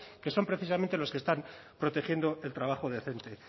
que son precisamente los que están protegiendo el trabajo decente